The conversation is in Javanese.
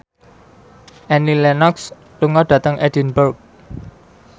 Annie Lenox lunga dhateng Edinburgh